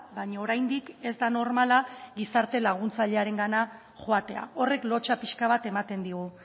baina oraindik ez da normala gizarte laguntzailearengana joatea horrek lotsa pixka bat ematen digu